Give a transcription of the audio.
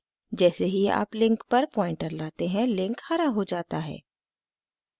जैसे ही आप लिंक पर पॉइंटर लाते हैं लिंक हरा हो जाता है